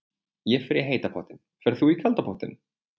Ég fer í heita pottinn. Ferð þú í kalda pottinn?